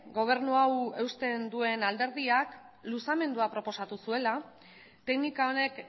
gobernu hau eusten duen alderdiak luzamendua proposatu zuela teknika honek